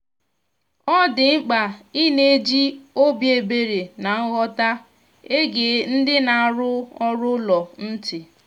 ọ dị mkpa ịna eji obi ebere na nghọta ege ndị na-arụ ọrụ ụlọ ntị